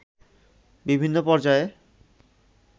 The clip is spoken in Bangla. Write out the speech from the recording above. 'বিভিন্ন পর্যায়ে